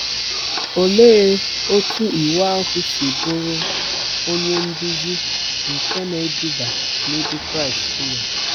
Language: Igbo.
Olee otú Iwu ahụ si bụrụ “ onye nduzi nke na-eduba n’ebe Kraịst nọ”?